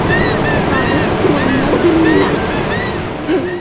Hvað veist þú um móður mína?